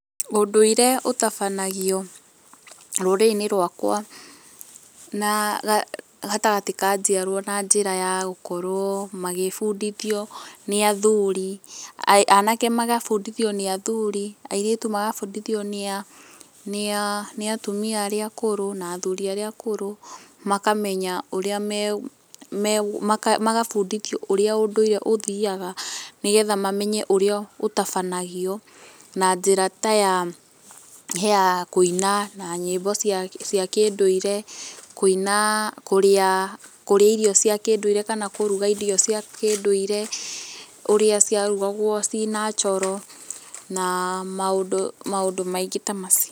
Ũndũire ũtabanagio rũrĩrĩ-inĩ rwakwa na gatagatĩ ka njiarwa na njĩra ya gũkorwo magĩbundithio nĩ athuri, anake magabundithio nĩ athuri, airĩtu magabundithio nĩa nĩa atumia arĩa akũrũ, na athuri arĩa akũrũ, makamenya ũrĩa megũ megũ magabundithio ũrĩa, ũndũire ũthiaga, nĩgetha mamenye ũrĩa ũtabanagio, na njĩra ta ya kũina na nyĩmbo cia kĩndũire, kũina, kũrĩa, kũrĩa irio cia kĩndũire kana kũruga irio cia kĩndũire, ũrĩa ciarugagwo ciĩ natural na maũndũ maũndũ maingĩ ta macio.